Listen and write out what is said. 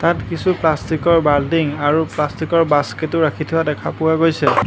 তাত কিছু প্লাষ্টিকৰ বালটিং আৰু প্লাষ্টিকৰ বাস্কেটো ৰাখি থোৱা দেখা পোৱা গৈছে।